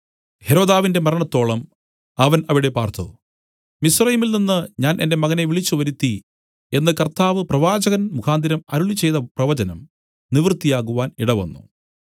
ഹെരോദാവിന്റെ മരണത്തോളം അവൻ അവിടെ പാർത്തു മിസ്രയീമിൽ നിന്നു ഞാൻ എന്റെ മകനെ വിളിച്ചുവരുത്തി എന്നു കർത്താവ് പ്രവാചകൻമുഖാന്തരം അരുളിച്ചെയ്ത പ്രവചനം നിവൃത്തിയാകുവാൻ ഇടവന്നു